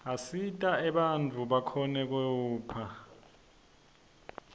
asita bantfu bakhone kephla